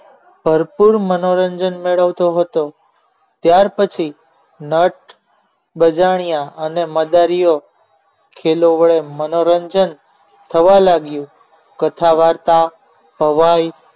ભરપૂર મનોરંજન મેળવતો હતો ત્યાર પછી નટ બજાણીયા અને મદારીઓ ખેલો વડે મનોરંજન થવા લાગ્યું કથા વાર્તા ભવાઈ